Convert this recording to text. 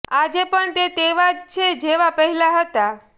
આજે પણ તે તેવા જ છે જેવા પહેલા હતા